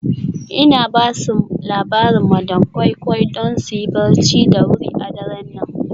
Ina ba su labarin madam koi koi don su yi barci da wuri a daren nan.